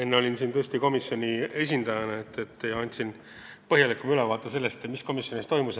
Enne ma olin siin komisjoni esindajana ja andsin tõesti põhjalikuma ülevaate sellest, mis komisjonis toimus.